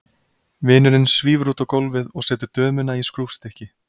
Vinurinn svífur út á gólfið og setur dömuna í skrúfstykki.